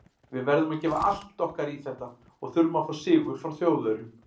Við verðum að gefa allt okkar í þetta og þurfum að fá sigur frá Þjóðverjum.